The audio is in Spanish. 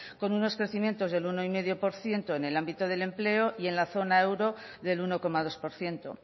con unos crecimientos del uno coma cinco por ciento en el ámbito del empleo y en la zona euro del uno coma dos por ciento